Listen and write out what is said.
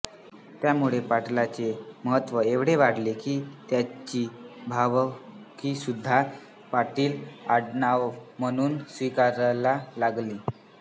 त्यामुळे पाटलाचे महत्त्व एवढे वाढले की त्याची भावकीसुद्धा पाटील आडनाव म्हणून स्वीकारायला लागली